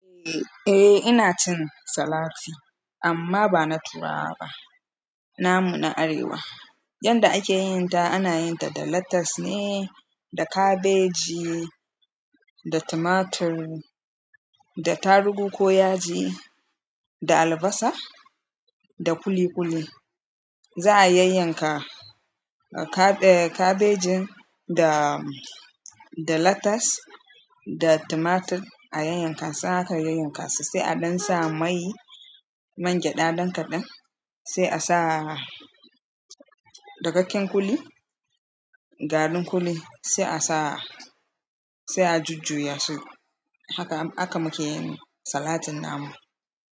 Eh ina cin salati amma bana turawa ba. Namu na arewa yanda ake yin ta ana yin ta da lettuce ne, da kabeji, da tomatur, da tarugu ko yaji, da albasa da ƙuli ƙuli. Za'a yayyan ka kabejin da latas da tumatur a yayyan ka a sa aka aka yayyanka su, sai a don sa mai man gyaɗa ɗan kaɗan, sai a sa dakakken ƙuli, garin ƙuli sai a sa, sai a jujjuya su. Haka aka muke yin salatin namu.